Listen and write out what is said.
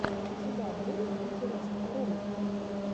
у тебя будет интересные ролики